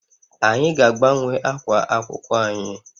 Anyị ga-agbanwe ákwà akwụkwọ anyị